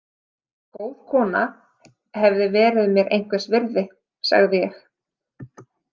Góð kona hefði verið mér einhvers virði, sagði ég.